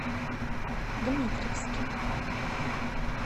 дмитровске